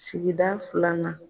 Sikida filanan